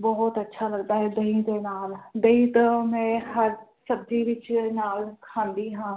ਬੋਹੋਤ ਅੱਛਾ ਲੱਗਦਾ ਹੈ ਦਹੀਂ ਦੇ ਨਾਲ ਦਹੀਂ ਤਾ ਮੈਂ ਹਰ ਸਬਜ਼ੀ ਵਿਚ ਨਾਲ ਖਾਂਦੀ ਹਾਂ